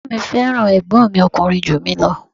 Bàbá mi fẹ́ràn ẹ̀gbọ́n mi ọkùnrin ju mi ​​lọ.